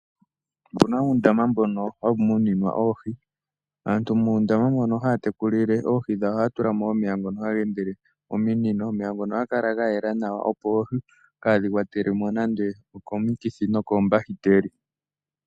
Opuna uundamo mbono hawu muninwa oohi, aantu muundama mono haatekulile oohi dhawo ohaya tulamo omeya ngono hageendele mominino ,omeya ngono ohaga kala gayela nawa opo oohi kaadhi kwatelwemo nande komikithi.